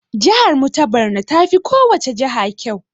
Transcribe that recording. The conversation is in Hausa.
Jahar mu ta Barno tafi kowacce jaha ƙyau.